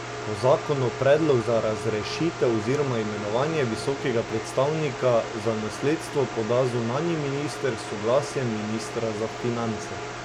Po zakonu predlog za razrešitev oziroma imenovanje visokega predstavnika za nasledstvo poda zunanji minister s soglasjem ministra za finance.